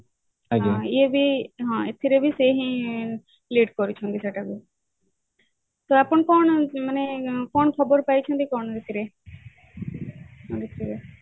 ହଁ ଏଥିରେ ବି ସେ ହିଁ lead କରୁଛନ୍ତି ସେଟାକୁ ତ ଆପଣ କଣ ମାନେ କଣ ଖବର ପାଇଛନ୍ତି କଣ